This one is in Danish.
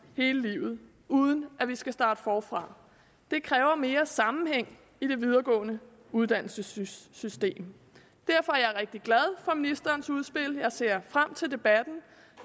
hele livet uden at vi skal starte forfra det kræver mere sammenhæng i det videregående uddannelsessystem derfor er jeg rigtig glad for ministerens udspil jeg ser frem til debatten